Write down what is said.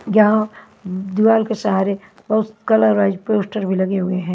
जहां दीवार के सहारे बहुत कलर वाइज पोस्टर भी लगे हुए हैं।